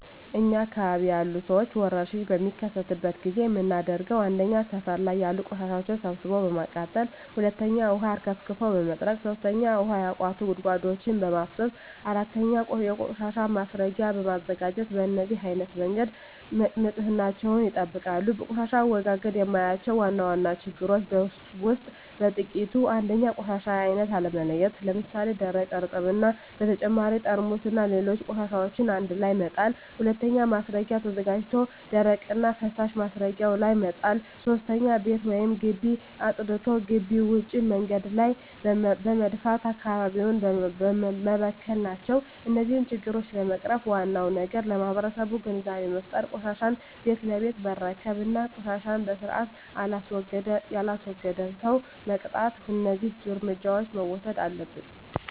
እኛ አካባቢ ያሉ ሠዎች ወርሽኝ በሚከሰትበት ጊዜ የምናደርገው 1. ሠፈር ላይ ያሉ ቆሻሻዎችን ሠብስቦ በማቃጠል 2. ውሀ አርከፍክፎ በመጥረግ 3. ውሀ ያቋቱ ጉድጓዶችን በማፋሠስ 4. የቆሻሻ ማስረጊያ በማዘጋጀት በነዚህ አይነት መንገድ ንፅህናቸውን ይጠብቃሉ። በቆሻሻ አወጋገድ የማያቸው ዋና ዋና ችግሮች ውስጥ በጥቂቱ 1. የቆሻሻ አይነት አለመለየት ለምሣሌ፦ ደረቅ፣ እርጥብ እና በተጨማሪ ጠርሙስና ሌሎች ቆሻሻዎችን አንድላይ መጣል። 2. ማስረጊያ ተዘጋጅቶ ደረቅና ፈሣሽ ማስረጊያው ላይ መጣል። 3. ቤት ወይም ግቢ አፅድቶ ግቢ ውጭ መንገድ ላይ በመድፋት አካባቢውን መበከል ናቸው። እነዚህን ችግሮች ለመቅረፍ ዋናው ነገር ለማህበረሠቡ ግንዛቤ መፍጠር፤ ቆሻሻን ቤት ለቤት መረከብ እና ቆሻሻን በስርአት የላስወገደን ሠው መቅጣት። እደዚህ እርምጃዎች መውሠድ አለብን።